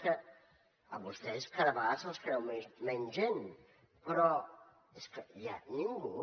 és que a vostès cada vegades se’ls creuen menys gent però és que aviat ningú